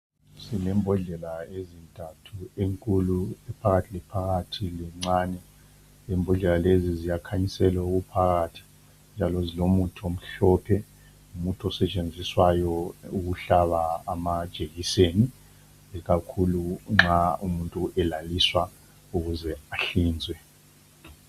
Sile mbodlela ezintathu enkulu, ephakathi laphakathi lencane. Imbodlela lezi ziyakhanyisela okuphakathi njalo zilomuthi omhlophe. Ngumuthi osetshenziswayo ukuhlaba amajekiseni ikakhulu nxa umuntu elaliswa ukuze ahlinzwe.